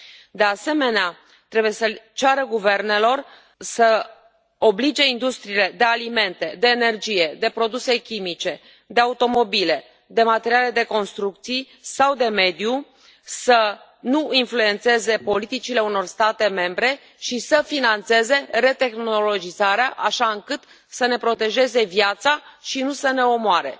De asemenea, trebuie să ceară guvernelor să oblige industriile de alimente, de energie, de produse chimice, de automobile, de materiale de construcții sau de mediu să nu influențeze politicile unor state membre și să finanțeze retehnologizarea așa încât să ne protejeze viața și nu să ne omoare.